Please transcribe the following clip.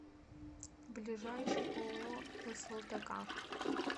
ближайший ооо слтк